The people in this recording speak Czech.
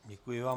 Děkuji vám.